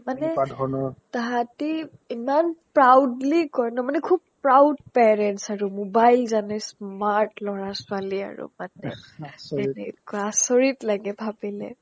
মানে তাহাতি ইমান proudly কয় ন মানে খুব proud parents আৰু mobile জানে smart ল'ৰা-ছোৱালী আৰু মানে এনেকুৱা আচৰিত লাগে ভাবিলে